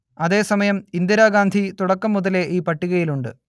അതേ സമയം ഇന്ദിരാഗാന്ധി തുടക്കം മുതലേ ഈ പട്ടികയിലുണ്ട്